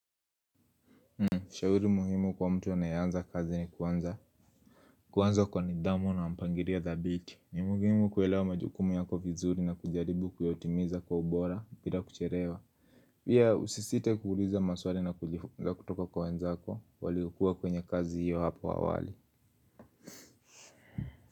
Shauri muhimu kwa mtu anayeanza kazi ni kuanza. Kuanza kwa nidhamu na mpangilio dhabiti ni muhimu kuelewa majukumu yako vizuri na kujaribu kuyatimiza kwa ubora bila kuchelewa. Pia usisite kuuliza maswali na kujifunza kutoka kwa wenzako waliokua kwenye kazi hiyo hapo awali.